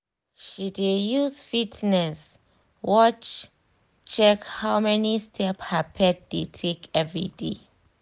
she dey use fitness watch check how many step her pet dey take everyday.